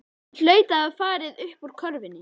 Hann hlaut að hafa farið uppúr körfunni.